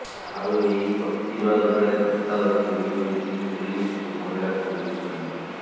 ଆଉ ଏହି ପ୍ରତିବାଦ ବେଳେ ଧସ୍ତାଧସ୍ତି ହୋଇଛନ୍ତି ପୁଲିସ୍ ଓ ମହିଳା କଂଗ୍ରେସ କର୍ମୀ